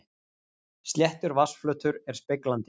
Sléttur vatnsflötur er speglandi.